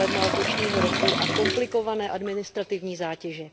1. ledna letošního roku a komplikované administrativní zátěže.